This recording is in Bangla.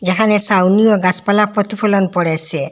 এখানে সাউনি ও গাসপালা পথ ফোলান পড়েসে।